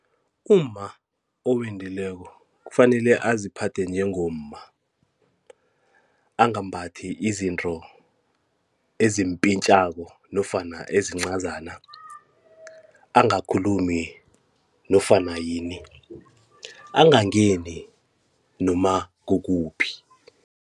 Umma owendileko kufanele aziphathe njengomma, angambathi izinto ezimpintjako nofana ezincazana, angakhulumi nofana yini, angangeni noma kukuphi.